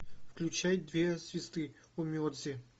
включай две звезды онмеджи